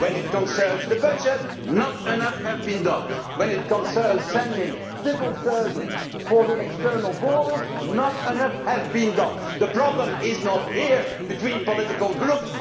When it concerns the budget, not enough has been done. When it concerns sending civil servants for the external borders, not enough has been done. The problem is not here, between political groups